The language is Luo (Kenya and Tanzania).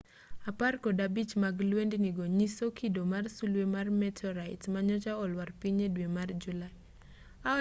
apar kod abich mag lwendni go nyiso kido mar sulwe mar meteorite manyocha olwar piny e dwe mar julai